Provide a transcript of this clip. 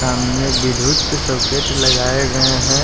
सामने विद्युत सॉकेट लगाए गए हैं।